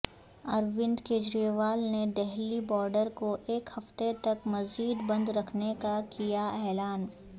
اروند کیجریوال نے دہلی بارڈر کو ایک ہفتہ تک مزید بند رکھنے کا کیا اعلان